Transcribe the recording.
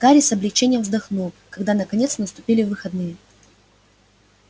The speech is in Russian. гарри с облегчением вздохнул когда наконец наступили выходные